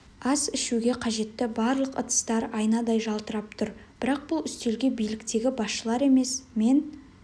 ас ішуге қажетті барлық ыдыстар айнадай жалтырап тұр бірақ бұл үстелге биліктегі басшылар емес мен